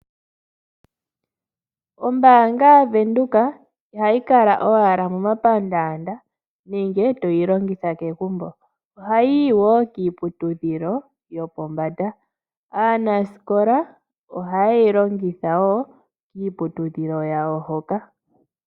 Ombaanga yaVenduka ihayi kala owala momapandaanda nenge toyi longitha kegumbo, ohayi yi wo kiiputudhilo yopombanda. Aanasikola ohaye yi longitha wo kiiputudhilo yawo hoka.